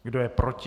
Kdo je proti?